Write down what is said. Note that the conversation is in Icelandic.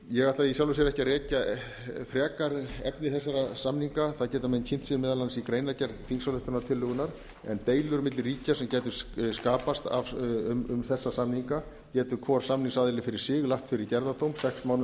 ég ætla í sjálfu sér ekki að rekja frekar efni þessara samninga það geta menn kynnt sér meðal annars í greinargerð þingsályktunartillögunnar en deilur milli ríkja sem gætu skapast um þessa samninga getur hvor samningsaðili fyrir sig lagt fyrir gerðardóm sex